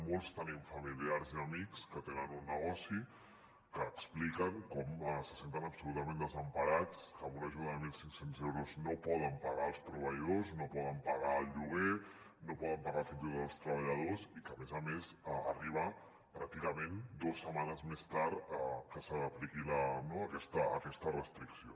molts tenim familiars i amics que tenen un negoci que expliquen com se senten absolutament desemparats que amb una ajuda de mil cinc cents euros no poden pagar els proveïdors no poden pagar el lloguer no poden pagar fins i tot els treballadors i que a més a més arriba pràcticament dos setmanes més tard que s’apliqui no aquesta restricció